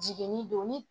Jigini don ni